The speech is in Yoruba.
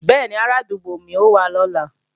Bẹ́ẹ̀ni, arádúgbò mi ó wá lọ́la